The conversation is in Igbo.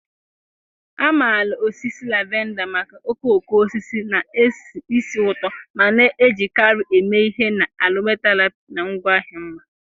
A maara osisi lavender maka okooko osisi na-esi ísì ụtọ ma na-ejikarị eme ihe na aromatherapy na ngwaahịa mma.